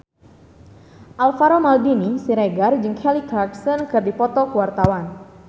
Alvaro Maldini Siregar jeung Kelly Clarkson keur dipoto ku wartawan